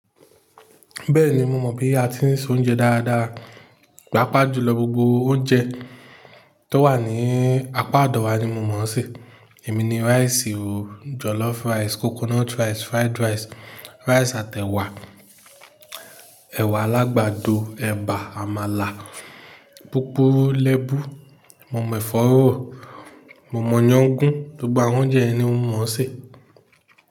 Bẹ́ẹ̀ni, mo mọ̀ bí a ti ń se oúnjẹ dáadáa. Pápá jùlọ gbogbo oúnjẹ tó wà ní apá ọ̀dọ̀ wa ni mo mọ̀ se. Èmi ni rice o, jollof rice, coconut rice, fried rice, rice àti ẹ̀wà, ẹ̀wà alagbado, ẹ̀bà, àmàlà, púpọ̀ lẹ́bù. Mo mọ̀ ẹfọ́ rọ̀, mo mọ̀ iyán gún. Gbogbo àwọn oúnjẹ ẹ ni mo mọ̀ se.